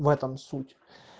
в этом суть